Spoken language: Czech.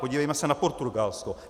Podívejme se na Portugalsko.